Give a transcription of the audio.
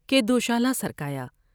کے دوشالہ سرکایا ۔